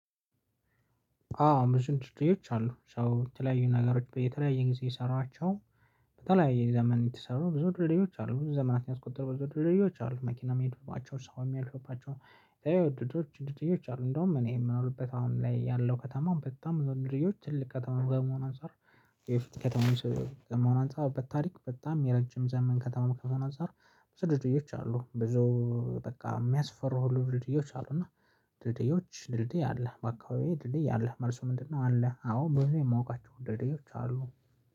አዎ ምሽት ትትዎች አሉ ሰው የተለያዩ ነገሮች በተለያየ ጊዜ የሰራቸው በተለያየ ዘመን የተሰሩ ብዙ ድልድዮች አሉ ብዙ ዘመናትን ያስቆጠሩ ብዙ ድልድዮች አሉ መኪና መሄዱባቸው ሰው የሚያልፉባቸው የወደዱ ድልድዮች አሉ እንደውም እኔ የምንርበት አሁን ላይ ያለው ከተማ በጣም የወደድዮች ትልቅ ከተማ በመሆን አንፃር የፊት ከተማ በመሆኗ አንፃር በታሪክ በጣም የረጅም ዘመን ከተማ ከመሆኗ አንፃር በዙ ድልድዮች አሉ። በቃ የሚያስፈሩ ልብድዮች አሉ። እና ድልድዮች ድልድይ አለ ባካባቢ ድልድይ አለ መልሱ ምንድነው? አለ አዎ ብዙ የማውቃቸው ደልድዮች አሉ።